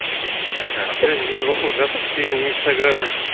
не болып жатыр сенің инстаграмың